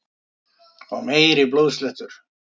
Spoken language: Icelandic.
Og meiri blóðslettur!